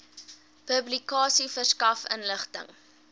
publikasie verskaf inligting